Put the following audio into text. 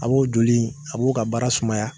A b'o joli in a b'o ka baara sumaya